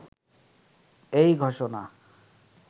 এই ঘোষণা